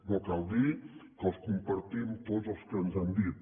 no cal dir que els compartim tots els que ens han dit